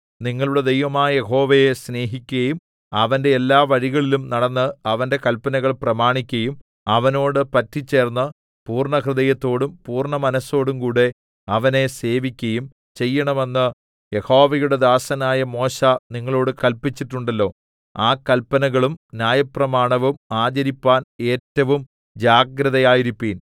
നിങ്ങളുടെ ദൈവമായ യഹോവയെ സ്നേഹിക്കയും അവന്റെ എല്ലാ വഴികളിലും നടന്ന് അവന്റെ കല്പനകൾ പ്രമാണിക്കയും അവനോട് പറ്റിച്ചേർന്ന് പൂർണ്ണഹൃദയത്തോടും പൂർണ്ണ മനസ്സോടുംകൂടെ അവനെ സേവിക്കയും ചെയ്യേണമെന്ന് യഹോവയുടെ ദാസനായ മോശെ നിങ്ങളോട് കല്പിച്ചിട്ടുണ്ടല്ലോ ആ കല്പനകളും ന്യായപ്രമാണവും ആചരിപ്പാൻ ഏറ്റവും ജാഗ്രതയായിരിപ്പിൻ